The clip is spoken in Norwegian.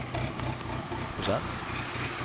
prosent